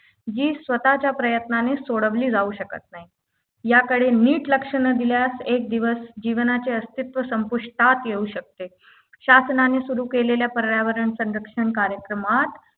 जी स्वतःच्या प्रयत्नाने सोडवली जाऊ शकत नाही याकडे नीट लक्ष न दिल्यास एक दिवस जीवनाचे अस्तित्व संपुष्टात येऊ शकते शासनाने सुरू केलेल्या पर्यावरण संरक्षण कार्यक्रमात